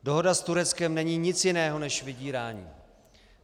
Dohoda s Tureckem není nic jiného než vydírání.